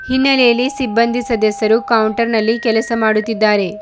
ಹಿನ್ನಲೆಯಲ್ಲಿ ಸಿಬಂದ್ದಿ ಸದಸ್ಯರು ಕೌಂಟರ್ ನಲ್ಲಿ ಕೆಲಸ ಮಾಡುತ್ತಿದ್ದಾರೆ.